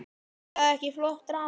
Er það ekki flott drama?